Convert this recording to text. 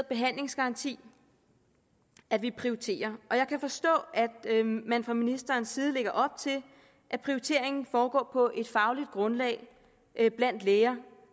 behandlingsgaranti at vi prioriterer og jeg kan forstå at man fra ministerens side lægger op til at prioriteringen foregår på et fagligt grundlag blandt læger